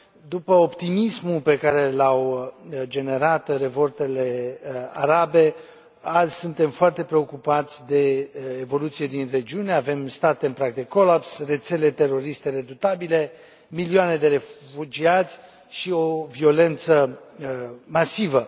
După optimismul pe care l au generat revoltele arabe, azi suntem foarte preocupați de evoluțiile din regiune. Avem state în prag de colaps, rețele teroriste redutabile, milioane de refugiați și o violență masivă.